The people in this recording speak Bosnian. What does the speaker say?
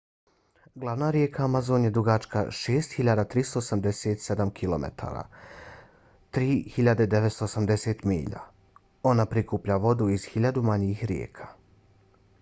glavna rijeka amazon je dugačka 6.387 km 3.980 milja. ona prikuplja vodu iz hiljadu manjih rijeka